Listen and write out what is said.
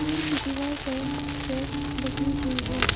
Room की दीवार पर सेल्फ लगी हुई है।